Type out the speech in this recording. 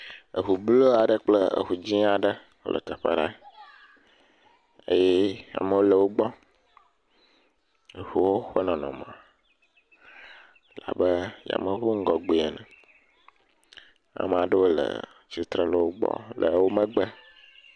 eʋu blu aɖe kple eʋu dzĩ aɖe wóle teƒe aɖe eye amowo le wógbɔ eʋuwo ƒe nɔnɔme labe yameʋu ƒe ŋgɔgbe ene amaɖewo le tsitre le wógbɔ le wó megbe